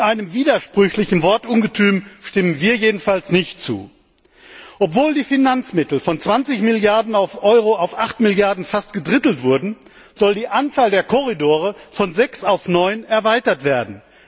Und einem widersprüchlichen Wortungetüm stimmen wir jedenfalls nicht zu. Obwohl die Finanzmittel von 20 Milliarden Euro auf 8 Milliarden Euro fast gedrittelt wurden, soll die Anzahl der Korridore von sechs auf neun erweitert werden.